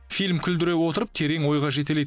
фильм күлдіре отырып терең ойға жетелейді